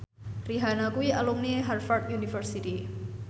Rihanna kuwi alumni Harvard university